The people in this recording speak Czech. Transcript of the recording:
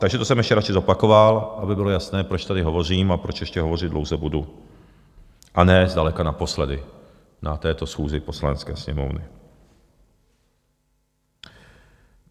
Takže to jsem ještě radši zopakoval, aby bylo jasné, proč tady hovořím a proč ještě hovořit dlouze budu, a ne zdaleka naposledy na této schůzi Poslanecké sněmovny.